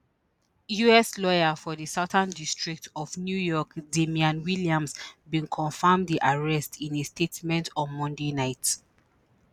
us lawyer for di southern district of new york damian williams bin confam di arrest in a statement on monday night